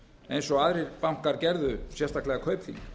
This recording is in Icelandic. eins og aðrir bankar gerðu sérstaklega kaupþing